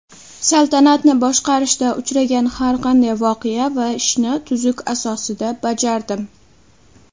Saltanatni boshqarishda uchragan har qanday voqea va ishni tuzuk asosida bajardim.